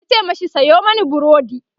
yace mashi "Sayo mani burodi!"